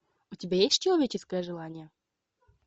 у тебя есть человеческое желание